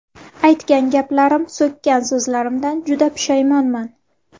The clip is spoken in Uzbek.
Aytgan gaplarim, so‘kkan so‘zlarimdan juda pushaymonman.